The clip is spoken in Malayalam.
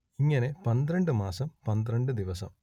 ഇങ്ങനെ പന്ത്രണ്ട് മാസം പന്ത്രണ്ട് ദിവസം